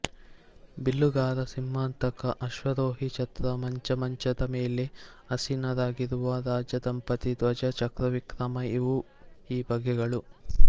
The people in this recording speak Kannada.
ಬಿಲ್ಲುಗಾರ ಸಿಂಹಾಂತಕ ಆಶ್ವಾರೋಹಿ ಛತ್ರ ಮಂಚ ಮಂಚದ ಮೇಲೆ ಆಸೀನರಾಗಿರುವ ರಾಜದಂಪತಿ ಧ್ವಜ ಚಕ್ರವಿಕ್ರಮ ಇವು ಈ ಬಗೆಗಳು